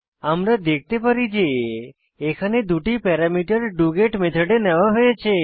আমরা দেখতে পারি যে এখানে দুটি প্যারামিটার ডগেট মেথডে নেওয়া হয়েছে